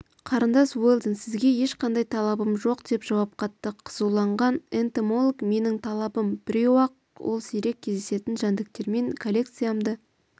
қарындас уэлдон сізге ешқандай талабым жоқ деп жауап қатты қызуланған энтомологменің талабым біреу-ақ ол сирек кездесетін жәндіктермен коллекциямды